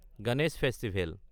Ganesh festival